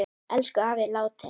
Elsku afi er látinn.